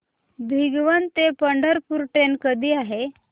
भिगवण ते पंढरपूर ट्रेन कधी आहे